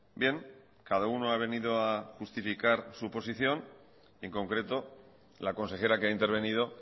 bien cada uno ha venido a justificar su posición en concreto la consejera que ha intervenido